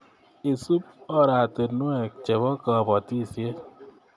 Isub arorutik Chebo kapotisiet